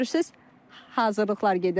Görürsüz hazırlıqlar gedir.